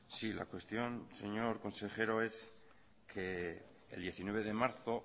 sí la cuestión señor consejero es que el diecinueve de marzo